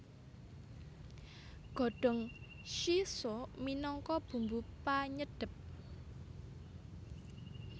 Godhong shiso minangka bumbu panyedhep